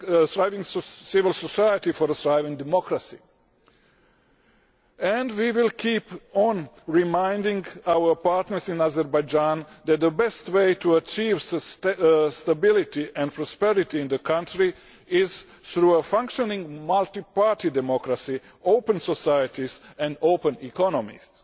of a thriving civil society for a thriving democracy and we will keep on reminding our partners in Azerbaijan that the best way to achieve stability and prosperity in the country is through a functioning multiparty democracy, open societies and open economies.